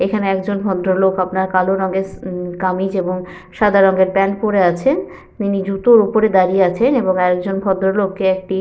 এখানে একজন ভদ্রলোক আপনার কালো রঙের স উ কামিজ এবং সাদা রঙের প্যান্ট পরে আছে। তিনি জুতোর উপরে দাঁড়িয়ে আছেন এবং আর এক জন ভদ্র লোককে একটি--